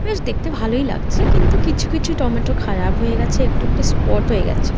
বেশ দেখতে ভালোই লাগছে কিন্তু কিছু কিছু টমেটো খারাপ হয়ে গেছে। একটু একটু স্পট হয়ে গেছে ।